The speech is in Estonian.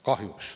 Kahjuks.